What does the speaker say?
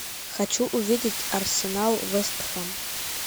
хочу увидеть арсенал вест хэм